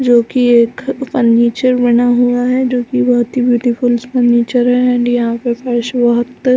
जोकि एक फर्नीचर बना हुआ है जोकि बहुत हि ब्यूटीफुल फर्नीचर है एंड यहाँ पर फर्श बहुत --